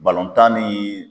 ni ye